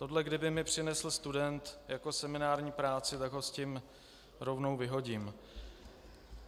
Tohle kdyby mi přinesl student jako seminární práci, tak ho s tím rovnou vyhodím.